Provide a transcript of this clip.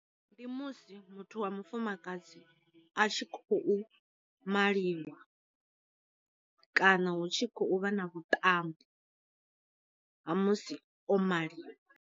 Ndi musi muthu wa mufumakadzi a tshi kho maliwa, kana hu tshi khou vha na vhuṱambo ha musi o maliwa.